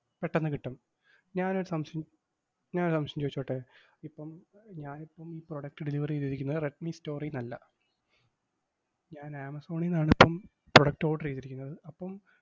പെട്ടന്ന് കിട്ടും. ഞാനൊരു സംശയം ഞാനൊരു സംശയം ചോയിച്ചോട്ടെ? ഇപ്പം ഞാനിപ്പം ഈ product delivery ചെയ്തിരിക്കുന്നത് റെഡ്‌മി store ന്ന് അല്ല. ഞാൻ ആമസോണീന്നാണിപ്പം product order എയ്തിരിക്കുന്നത്. അപ്പം,